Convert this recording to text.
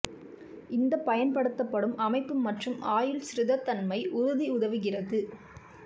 இந்த பயன்படுத்தப்படும் அமைப்பு மற்றும் ஆயுள் ஸ்திரத்தன்மை உறுதி உதவுகிறது